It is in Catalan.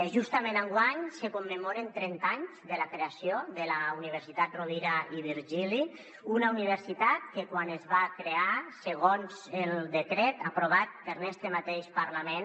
justament enguany se commemoren trenta anys de la creació de la universitat rovira i virgili una universitat que quan es va crear segons el decret aprovat per este mateix parlament